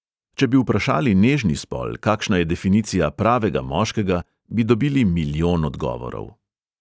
Če bi vprašali nežni spol, kakšna je definicija pravega moškega, bi dobili milijon odgovorov.